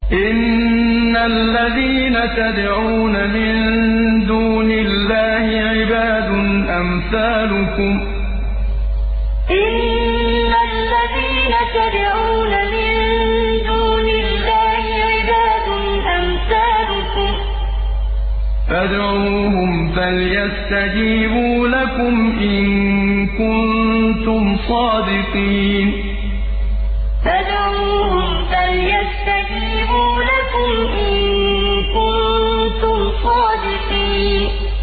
إِنَّ الَّذِينَ تَدْعُونَ مِن دُونِ اللَّهِ عِبَادٌ أَمْثَالُكُمْ ۖ فَادْعُوهُمْ فَلْيَسْتَجِيبُوا لَكُمْ إِن كُنتُمْ صَادِقِينَ إِنَّ الَّذِينَ تَدْعُونَ مِن دُونِ اللَّهِ عِبَادٌ أَمْثَالُكُمْ ۖ فَادْعُوهُمْ فَلْيَسْتَجِيبُوا لَكُمْ إِن كُنتُمْ صَادِقِينَ